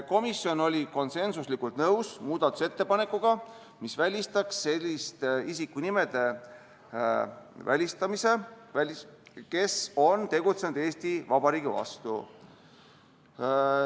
Komisjon oli konsensuslikult nõus muudatusettepanekuga, mis välistaks selliste isikute nimede kasutamise, kes on tegutsenud Eesti Vabariigi vastu.